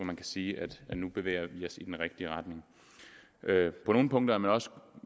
man kan sige at nu bevæger vi os i den rigtige retning på nogle punkter er man også